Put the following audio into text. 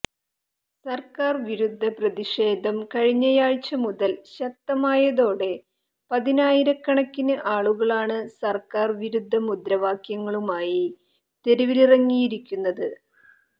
സർക്കാർ വിരുദ്ധ പ്രതിഷേധം കഴിഞ്ഞയാഴ്ച മുതൽ ശക്തമായതോടെ പതിനായിരകണക്കിന് ആളുകളാണ് സർക്കാർ വിരുദ്ധ മുദ്രാവാക്യങ്ങളുമായി തെരുവിലിറങ്ങിയിരിക്കുന്നത്